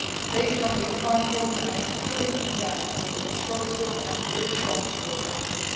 Based on these findings, I have fully condemned this atrocious and irresponsible action.